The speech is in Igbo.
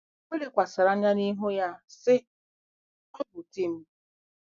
O lekwasịrị anya n'ihu ya, sị, Ọ bụ di m.